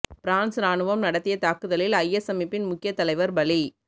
France இராணுவம் நடத்திய தாக்குதலில் ஐஎஸ் அமைப்பின் முக்கிய தலைவர் பலி